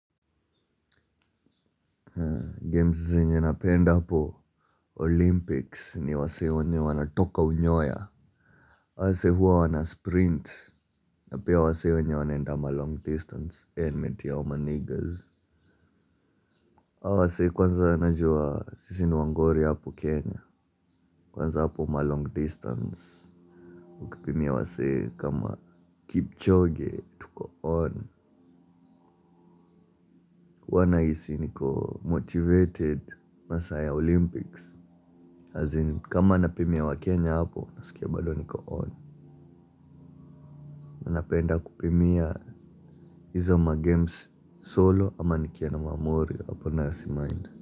Games zenye napenda hapo olympics ni wasee wenye wanatoka unyoya. Hawa wasee huwa wana sprint, na pia wasee wenye wanaenda ma long distance, ee nimetii hao maniggaz. Hao wasee kwanza wanajua sisi ni wangori hapo Kenya. Kwanza hapo ma long distance ukipimia wasee kama Kipchoge, tuko on. Huwa nahisi niko motivated masaa ya olympics, as in, kama napimia wakenya hapo, nasikia bado niko on. Napenda kupimia hizo ma-games solo ama nikiwa na mamorio, hapo nayo simind.